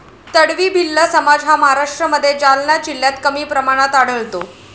तडवी भिल्ल समाज हा महाराष्ट्रामध्ये जालना जिल्ह्यात कमी प्रमाणात आढळतो.